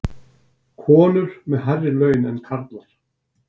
Konur með hærri laun en karlar